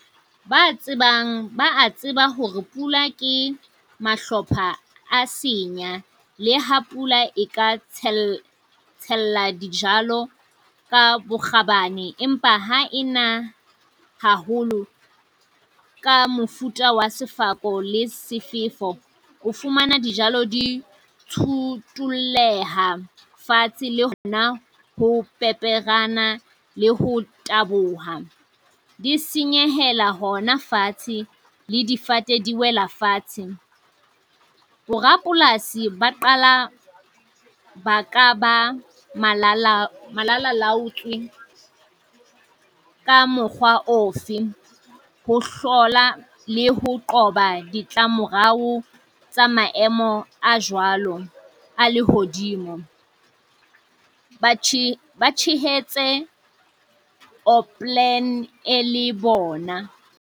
Ba tsebang ba a tseba hore pula ke mahlopha a senya. Le ha pula e ka tshela tshella dijalo ka bokgabane, empa ha e na haholo ka mofuta wa sefako le sefefo, o fumana dijalo di tsutulleha fatshe le hona ho peperenyana le ho taboha. Di senyehela hona fatshe, le difate di wela fatshe. Borapolasi ba qala ba ka ba malala malalalaotswe ka mokgwa ofe? Ho hlola le ho qoba ditlamorao tsa maemo a jwalo a lehodimo. Batjha se ba tshehetse oopplan e le bona.